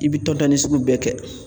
I bi tɔntɔnni sugu bɛɛ kɛ